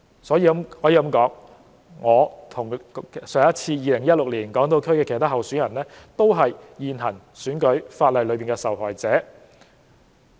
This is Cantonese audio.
可以說，我與2016年港島區其他候選人都是現行選舉法例的受害者。